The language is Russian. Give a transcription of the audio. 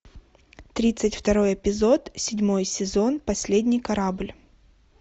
тридцать второй эпизод седьмой сезон последний корабль